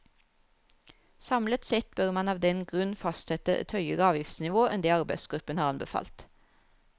Samlet sett bør man av den grunn fastsette et høyere avgiftsnivå enn det arbeidsgruppen har anbefalt.